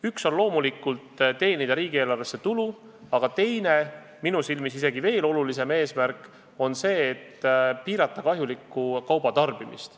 Üks on loomulikult teenida riigieelarvesse tulu, aga teine, minu silmis isegi veel olulisem eesmärk, on see, et piirata kahjuliku kauba tarbimist.